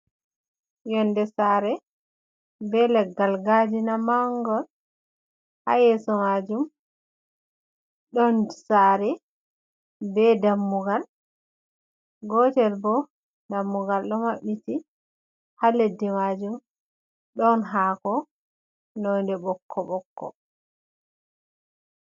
Yonde sare be leggal gadina mangal ha yeso majum, don sare be dammugal gotel bo dammugal do mabbiti ha leddi majum don hako nonde bokko bokko.